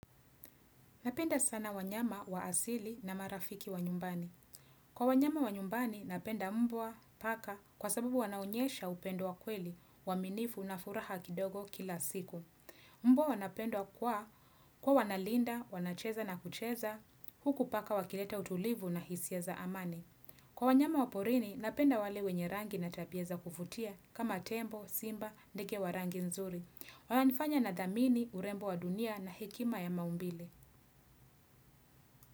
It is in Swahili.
Napenda sana wanyama wa asili na marafiki wa nyumbani. Kwa wanyama wa nyumbani, napenda mbwa, paka, kwa sababu wanaonyesha upendo wa kweli uaminifu na furaha kidogo kila siku. Mbwa wanapendwa kwa kwa wanalinda, wanacheza na kucheza, huku paka wakileta utulivu na hisia za amani. Kwa wanyama wa porini, napenda wale wenye rangi na tabia za kuvutia kama tembo, simba, ndege wa rangi nzuri. Wana nifanya nadhamini urembo wa dunia na hekima ya maumbile.